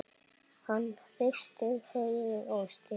Hann hristir höfuðið og stynur.